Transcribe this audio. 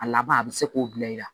A laban a bɛ se k'o bila i la